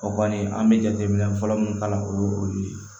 O kɔni an bɛ jateminɛ fɔlɔ min kalan o ye o ye